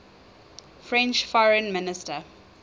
french foreign minister